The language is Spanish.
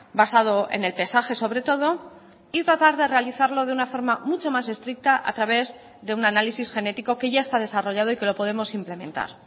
basado en el pesaje sobre todo y tratar de realizarlo de una forma mucho más estricta a través de un análisis genético que ya está desarrollado y que lo podemos implementar